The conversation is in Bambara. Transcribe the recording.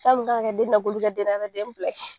Fɛn mun kan ka kɛ den na k'olu kɛ den na ka taa den bila